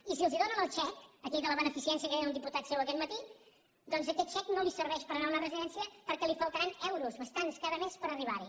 i si els donen el xec aquell de la beneficència que deia un diputat seu aquest matí doncs aquest xec no li serveix per anar a una residència perquè li faltaran euros bastants cada mes per arribarhi